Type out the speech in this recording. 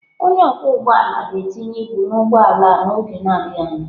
Onye ọkwọ ụgbọ ala ga-tinye ibu na ụgbọ ala n'oge adịghị anya.